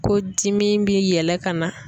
Ko dimi bi yɛlɛ ka na.